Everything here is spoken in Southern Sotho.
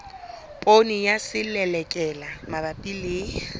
poone ya selelekela mabapi le